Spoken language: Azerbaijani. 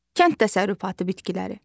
Kənd təsərrüfatı bitkiləri.